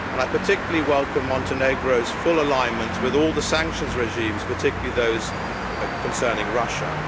I particularly welcome Montenegro's full alignment with all the sanctions regimes, particularly those concerning Russia.